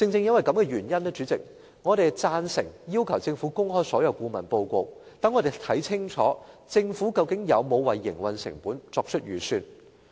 主席，正因如此，我們贊成要求政府公開所有顧問報告，讓我們看清楚政府究竟有否為營運成本作出預算。